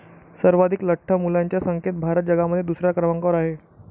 सर्वाधीक लठ्ठ मुलांच्या संख्येत भारत जगामध्ये दुसऱ्या क्रमांकावर आहे.